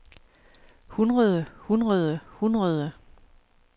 hundrede hundrede hundrede